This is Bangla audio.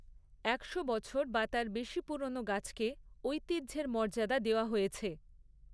একশো বছর বা তার বেশি পুরনো গাছকে ঐতিহ্যের মর্যাদা দেওয়া হয়েছে।